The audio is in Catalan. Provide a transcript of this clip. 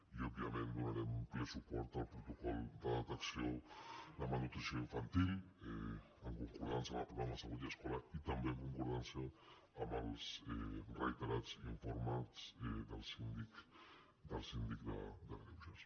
i òbviament donarem ple suport al protocol de detecció de malnutrició infantil en concordança amb el programa salut i escola i també en concordança amb els reiterats informes del síndic de greuges